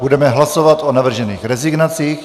Budeme hlasovat o navržených rezignacích.